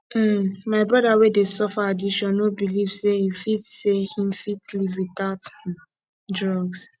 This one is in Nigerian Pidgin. um my broda wey dey suffer addiction no beliv sey him fit sey him fit live witout um drug